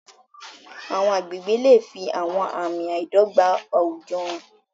Àwọn agbègbè lè fi àwọn àmì àìdọ́gba àwùjọ hàn.